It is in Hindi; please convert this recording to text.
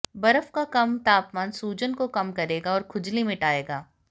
बर्फ का कम तापमान सूजन को कम करेगा और खुजली मिटाएगा